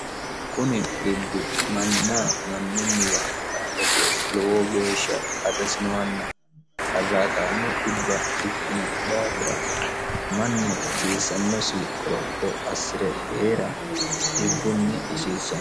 kuni dhibbi manna mannunniwa xaadate lowo geeshsha qarrisinoanna qarraatammo xibba ikkino daafira mannu hasiissannosi qoropo assi're hee'ra xibbunni gatissanno